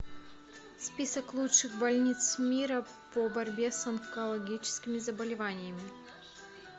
список лучших больниц мира по борьбе с онкологическими заболеваниями